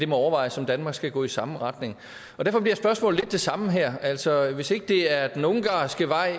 må overvejes om danmark skal gå i samme retning derfor bliver spørgsmålet lidt det samme her altså hvis ikke det er den ungarske vej